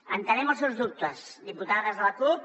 entenem els seus dubtes diputades de la cup